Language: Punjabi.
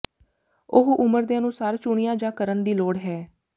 ਉਹ ਉਮਰ ਦੇ ਅਨੁਸਾਰ ਚੁਣਿਆ ਜਾ ਕਰਨ ਦੀ ਲੋੜ ਹੈ